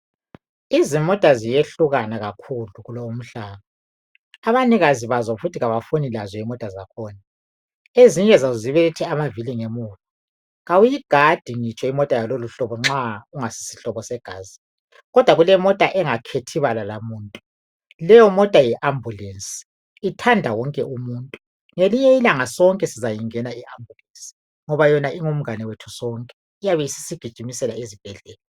Izimota ziyehlukana kakhulu kulowu mhlaba abanikazi bazo futhi abafundi lazo imota zakhona ezinye zazi zibelethe amavili ngemuva kawuyigadi ngitsho imota ngaloluhlobo nxa ungasisihlobo segazi kodwa kulemota engakhethi bala lamuntu leyo mota Yi ambulance ithanda wonke umuntu ngelinye ilanga sizayigada i ambulance Ngoba yona ingumngane wethu sonke iyabe isisigijimisela esibhedlela